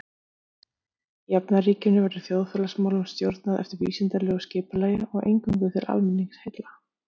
Í jafnaðarríkinu verður þjóðfélagsmálunum stjórnað eftir vísindalegu skipulagi og eingöngu til almenningsheilla.